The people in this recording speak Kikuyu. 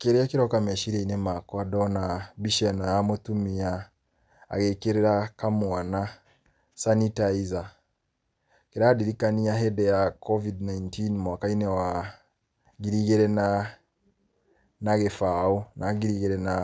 Kĩrĩa kĩroka meciria-inĩ makwa ndona mbica ĩno ya mũtumia agĩkĩrĩra kamwana sanitizer, kĩrandirikania hĩndĩ ya Covid 19 mwaka-inĩ wa ngiri igĩrĩ na na gĩbaũ na ngiri igĩrĩ na